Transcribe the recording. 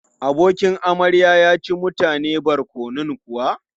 Abokin amarya ya ci mutane barkonon kuwa?